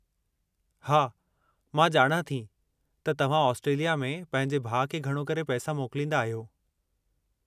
हा, मां ॼाणां थी त तव्हां ऑस्ट्रेलिया में पंहिंजे भाउ खे घणो करे पैसा मोकलींदा आहियो।